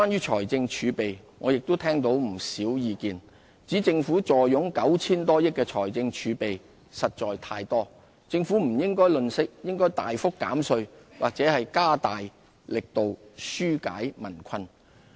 財政儲備我也聽到不少意見，指政府坐擁 9,000 多億元的財政儲備實在太多，政府不應吝嗇，應大幅減稅或加大力度紓解民困。